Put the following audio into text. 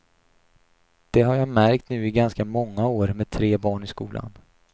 Det har jag märkt nu i ganska många år, med tre barn i skolan.